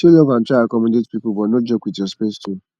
show love and try accommodate pipo but no joke with your space too